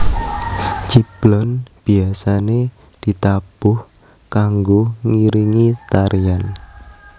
Ciblon biasane ditabuh kanggo ngiringi tarian